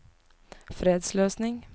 fredsløsning